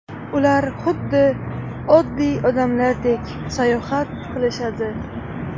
Ular xuddi oddiy odamlardek sayohat qilishadi!